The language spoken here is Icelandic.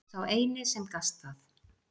Sá eini sem gast það.